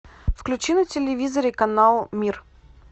включи на телевизоре канал мир